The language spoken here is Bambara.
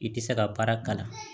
I tɛ se ka baara kalan